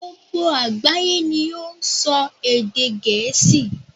Gbogbo àgbáyé ni ó n sọ èdè Gèésì